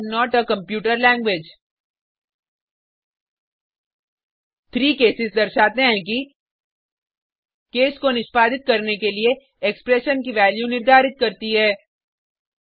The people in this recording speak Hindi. I am not a computer language 3 cases दर्शाते हैं कि केस को निष्पादित करने के लिए एक्सप्रेशन की वैल्यू निर्धारित करती है